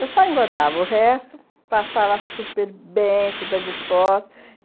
Eu só engordava o resto, passava super bem, super disposta.